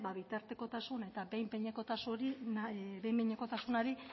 bitartekotasun eta behin behinekotasunari